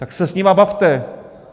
Tak se s nimi bavte.